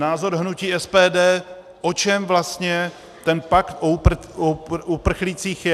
Názor hnutí SPD, o čem vlastně ten pakt o uprchlících je.